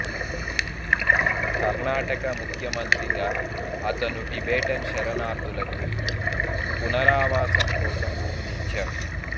కర్ణాటక ముఖ్యమంత్రిగా అతను టిబెటన్ శరణార్థులకు పునరావాసం కోసం భూమిని ఇచ్చాడు